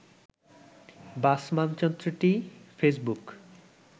বাস মানচিত্রটি ফেসবুক